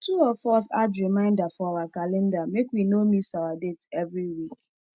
two of us add reminder for our calendar make we no miss our date every week